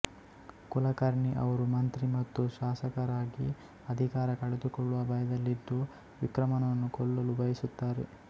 ಕುಲಕರ್ಣಿ ಅವರು ಮಂತ್ರಿ ಮತ್ತು ಶಾಸಕರಾಗಿ ಅಧಿಕಾರ ಕಳೆದುಕೊಳ್ಳುವ ಭಯದಲ್ಲಿದ್ದು ವಿಕ್ರಮನನ್ನು ಕೊಲ್ಲಲು ಬಯಸುತ್ತಾರೆ